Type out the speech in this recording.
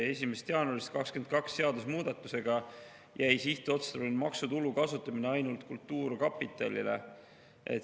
1. jaanuarist 2022 jäi seadusemuudatusega sihtotstarbelise maksutulu kasutamine ainult kultuurkapitalile.